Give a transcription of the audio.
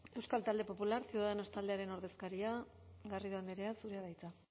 euskal talde popular ciudadanos taldearen ordezkaria garrido andrea zurea da hitza